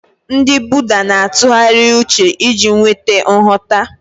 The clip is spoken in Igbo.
Ndị Buddha na-atụgharị uche iji nweta nghọta.